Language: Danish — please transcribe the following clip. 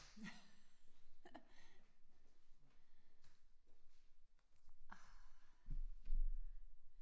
Ah